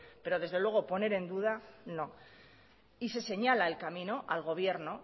pero desde luego poner en duda no y se señala el camino al gobierno